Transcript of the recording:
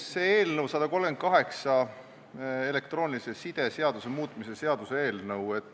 See on nr 138, elektroonilise side seaduse muutmise seaduse eelnõu.